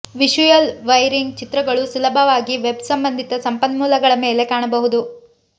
visual wiring ಚಿತ್ರಗಳು ಸುಲಭವಾಗಿ web ಸಂಬಂಧಿತ ಸಂಪನ್ಮೂಲಗಳ ಮೇಲೆ ಕಾಣಬಹುದು